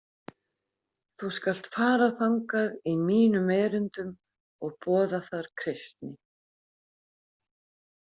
Þú skalt fara þangað í mínum erindum og boða þar kristni.